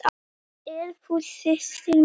Ert þú systir mín?